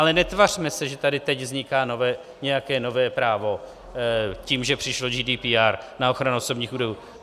Ale netvařme se, že tady teď vzniká nějaké nové právo tím, že přišlo GDPR na ochranu osobních údajů.